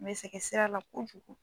N bɛ sɛgɛn sira la kojugu.